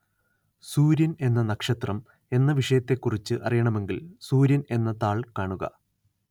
സൂര്യന്‍ എന്ന നക്ഷത്രം എന്ന വിഷയത്തെക്കുറിച്ച് അറിയണമെങ്കില്‍ സൂര്യന്‍ എന്ന താള്‍ കാണുക